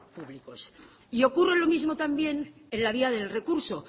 públicos y ocurre lo mismo también en la vía del recurso